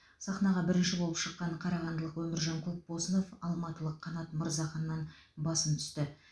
сахнаға бірінші болып шыққан қарағандылық өміржан көпбосынов алматылық қанат мырзаханнан басым түсті